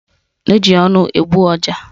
Eji ọnụ egbu ọja